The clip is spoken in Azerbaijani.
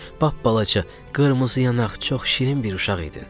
Bapbalaca, qırmızı yanaq, çox şirin bir uşaq idin.